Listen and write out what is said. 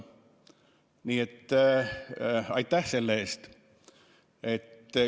Nii et aitäh selle eest!